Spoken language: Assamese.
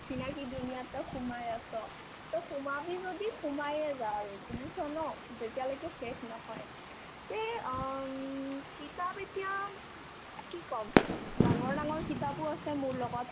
অচিনাকি duniya ত তই সোমাই আছ তে সোমাবি যদি সোমায়ে যা আৰু বুজিছ ন যেতিয়ালৈকে শেষ নহয় তে আম কিতাপ এতিয়া কি ক'ম ডাঙৰ ডাঙৰ কিতাপো আছে মোৰ লগত